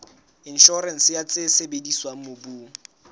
inshorense ya tse sebediswang mobung